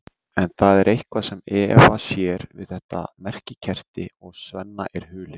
En það er eitthvað sem Eva sér við þetta merkikerti og Svenna er hulið.